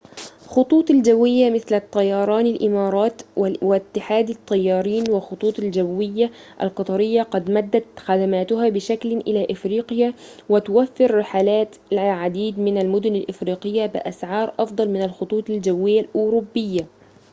خطوط الجوية مثل طيران الإمارات والاتحاد للطيران والخطوط الجوية القطرية قد مدّت خدماتها بشكل إلى أفريقيا وتوفر رحلات إلى العديد من المدن الإفريقية بأسعار أفضل من الخطوط الجوية الأوروبية